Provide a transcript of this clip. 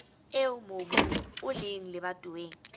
eo mobu o leng lebatoweng